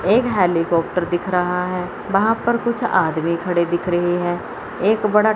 एक हेलीकॉप्टर दिख रहा है वहां पर कुछ आदमी खड़े दिख रहे है एक बड़ा--